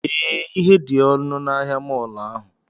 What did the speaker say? Ee, ihe dị ọnụ na ahịa mọọlụ ahụ